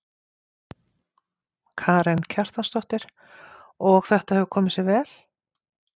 Karen Kjartansdóttir: Og þetta hefur komið sér vel?